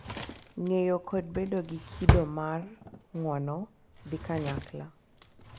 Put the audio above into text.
Ng’eyo kod bedo gi kido mar ng’uono dhi kanyakla,